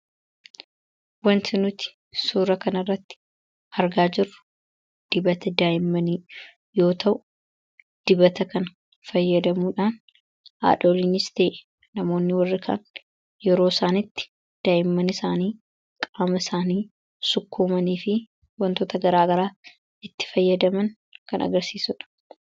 Wanti nuti suura kana irratti argaa jirru dibata daayimmanii yoo ta'u dibata kan fayyadamuudhaan haadholiinista'e namoonni warri kan yeroo isaanitti daayimman isaanii qaama isaanii sukkuumanii fi wantoota garaa garaa itti fayyadaman kan agirsiisudha.